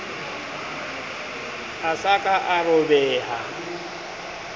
a sa ka a robeha